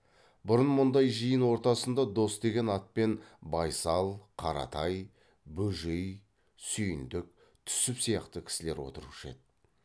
бұрын мұндай жиын ортасында дос деген атпен байсал қаратай бөжей сүйіндік түсіп сияқты кісілер отырушы еді